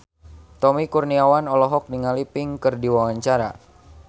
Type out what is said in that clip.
Tommy Kurniawan olohok ningali Pink keur diwawancara